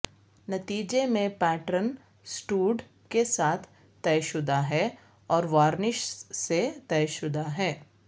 نتیجے میں pattern stud کے ساتھ طے شدہ ہے اور وارنش سے طے شدہ ہے